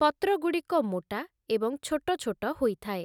ପତ୍ରଗୁଡ଼ିକ ମୋଟା ଏବଂ ଛୋଟଛୋଟ ହୋଇଥାଏ ।